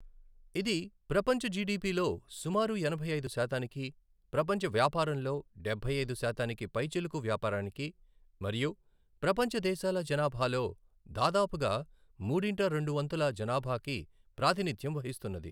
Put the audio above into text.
ఇది ప్రపంచ జిడిపి లో సుమారు ఎనభై ఐదు శాతానికి, ప్రపంచ వ్యాపారం లో డబ్బై ఐదు శాతానికి పైచిలుకు వ్యాపారానికి, మరియు ప్రపంచ దేశాల జనాభాలో దాదాపుగా మూడింట రెండు వంతుల జనాభాకు ప్రాతినిధ్యం వహిస్తున్నది.